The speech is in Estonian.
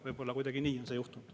Võib-olla kuidagi nii on see juhtunud.